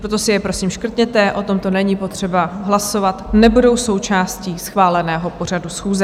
Proto si je prosím škrtněte, o tomto není potřeba hlasovat, nebudou součástí schváleného pořadu schůze.